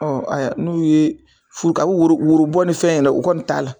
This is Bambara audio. ayiwa n'u ye furu woro woro bɔ ni fɛn yɛrɛ o kɔni t'a la